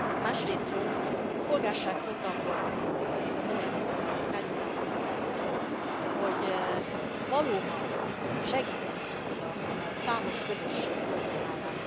Másrészről a Polgárság programról mondanék valamit. Felhívnám a figyelmet, hogy valóban segíteni tudja majd számos közösség problémáját.